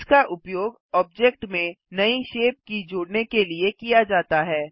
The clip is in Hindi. इसका उपयोग ऑब्जेक्ट में नई शेप के जोड़ने के लिए किया जाता है